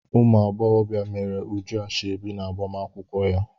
Ụmụ agbọghọbịa meere Uju ashọbi n'agbamakwụkwọ ya.